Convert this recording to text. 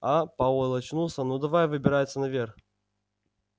а пауэлл очнулся ну давай выбираться наверх